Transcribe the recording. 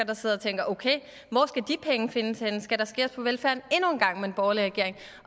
der sidder og tænker okay hvor skal de penge findes henne skal der skæres på velfærden endnu en gang med en borgerlig regering